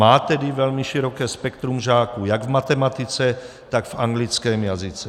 Má tedy velmi široké spektrum žáků jak v matematice, tak v anglickém jazyce.